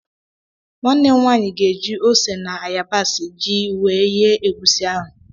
Nwanne m nwaanyị ga-eji ose na ayabas jiri yee egusi ahụ.